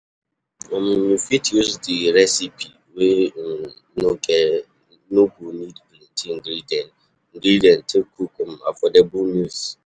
um You fit use di recipe wey um no go need plenty ingredient ingredient take cook um affordable meals